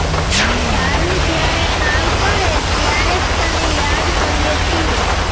તારું જયારે કામ પડે ત્યારે જ તને યાદ કરીએ છીએ